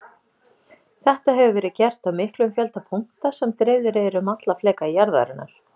Þetta hefur verið gert á miklum fjölda punkta sem dreifðir eru um alla fleka jarðarinnar.